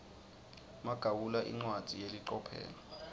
magawula incwadzi yelicophelo